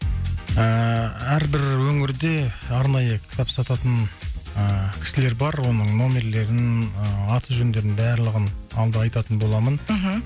ыыы әрбір өңірде арнайы кітап сататын ыыы кісілер бар оның нөмірлерін аты жөндерінің барлығын алда айтатын боламын мхм